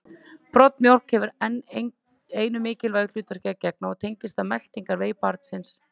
Broddmjólk hefur enn einu mikilvægu hlutverki að gegna og tengist það meltingarvegi barnsins.